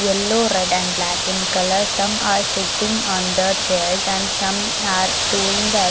yellow red and black in colour some are sitting on the chairs and some are doing the e --